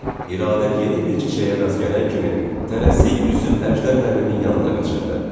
İradə yeni bir çiçəyə rast gələn kimi tələsik üzüb Əjdər müəllimin yanına qaçırdı.